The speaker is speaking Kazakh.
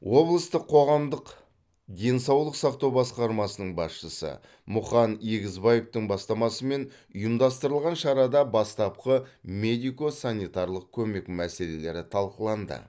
облыстық қоғамдық денсаулық сақтау басқармасының басшысы мұқан егізбаевтың бастамасымен ұйымдастырылған шарада бастапқы медико санитарлық көмек мәселелері талқыланды